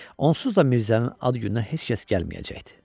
Onsuz da Mirzənin ad gününə heç kəs gəlməyəcəkdi.